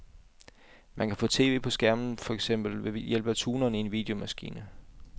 Men man kan få tv på skærmen for eksempel ved hjælp af tuneren i en videomaskine.